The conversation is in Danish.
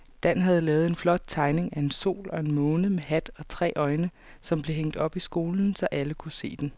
Dan havde lavet en flot tegning af en sol og en måne med hat og tre øjne, som blev hængt op i skolen, så alle kunne se den.